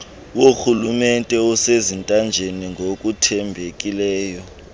worhulumente osezintanjeni ngokuthembekileyo